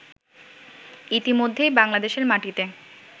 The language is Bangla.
ইতিমধ্যেই বাংলাদেশের মাটিতে